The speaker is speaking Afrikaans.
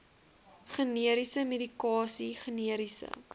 generiese medikasie generiese